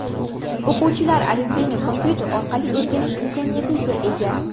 O‘quvchilar alifbeni kompyuter orqali o‘rganish imkoniyatiga ega.